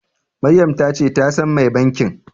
Maryam ta ce ta san mai bankin.